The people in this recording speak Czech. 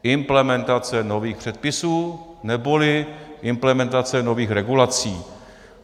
Implementace nových předpisů neboli implementace nových regulací.